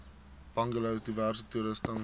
bungalows diverse toerusting